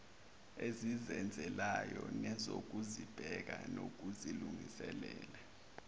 ezizenzelayo nezokuzibheka nokuzilungisela